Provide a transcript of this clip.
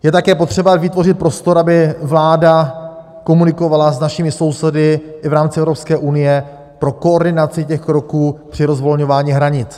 Je také potřeba vytvořit prostor, aby vláda komunikovala s našimi sousedy i v rámci Evropské unie pro koordinaci těch kroků při rozvolňování hranic.